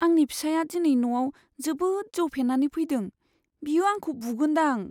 आंनि फिसाइया दिनै न'आव जोबोद जौ फेनानै फैदों। बियो आंखौ बुगोनदां।